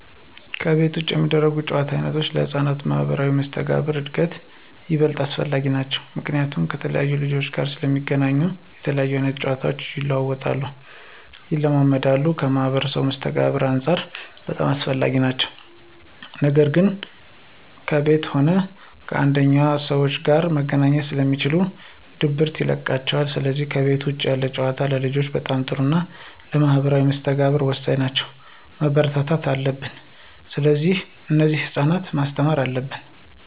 ከቤት ውጭ የሚደረጉ የጨዋታ ዓይነቶች ለሕፃናት ማኅበራዊ መስተጋብር እድገት ይበልጥ አስፈላጊ ናቸዉ። ምክንያቱም ከተለያየ ልጆች ጋር ስለሚገናኙ የተለያየ አይነት ጨዋታቸው ይለዋወጣሉ፣ ይለማመዳሉ ከማህበራዊ መስተጋብርም አንፃር በጣም አስፈላጊ ናቸው ነገር ግን ከቤት ከሆነ አንደኛ ከሰዎች ጋር መገናኘት ስለማይችሉ ድብርት ይለቅባቸዋል ስለዚህ ከቤት ውጭ ያሉ ጨዋታዎች ለልጆች በጣም ጥሩና ለማህበራዊ መስተጋብር ወሳኝ ናቸው፣ መበረታታት አለብን። ስለዚህ እነዚህን ለህፃናት ማስተማር አለብን።